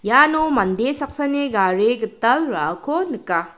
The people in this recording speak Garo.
iano mande saksani gari gital ra·ako nika.